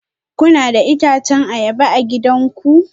Kuna da itacen ayaba a gidanku?